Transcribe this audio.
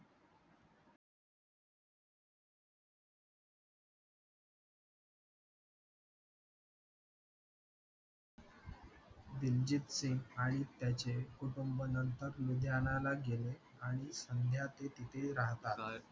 दिलजीत सिंग आणि त्याचे कुटुंब नंतर लुधियानाला गेले आणि असाध्य ते तिथे राहतात